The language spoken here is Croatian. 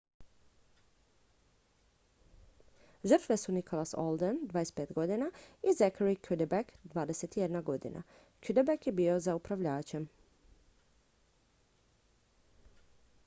žrtve su nicholas alden 25 i zachary cuddeback 21. cuddeback je bio za upravljačem